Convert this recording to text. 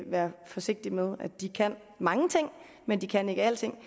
være forsigtig med de kan mange ting men de kan ikke alting